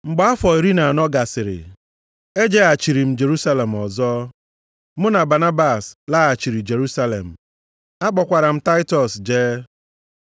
Mgbe afọ iri na anọ gasịrị, ejeghachiri m Jerusalem ọzọ. Mụ na Banabas laghachiri Jerusalem, akpọkwara m Taịtọs jee.